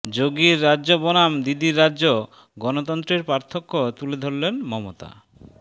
যােগির রাজ্য বনাম দিদির রাজ্য গণতন্ত্রের পার্থক্য তুলে ধরলেন মমতা